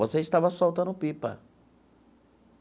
Você estava soltando pipa.